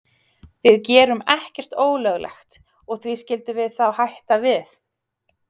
Við gerum ekkert ólöglegt og því skildum við þá hætta við?